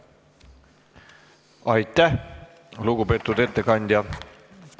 Aitäh, lugupeetud ettekandja!